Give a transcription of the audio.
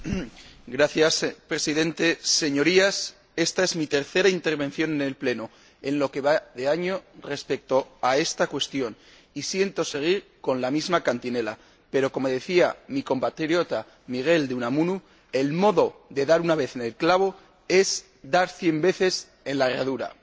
Señor Presidente, Señorías, esta es mi tercera intervención en el Pleno en lo que va de año respecto a esta cuestión y siento seguir con la misma cantinela, pero como decía mi compatriota Miguel de Unamuno, el modo de dar una vez en el clavo es dar cien veces en la herradura.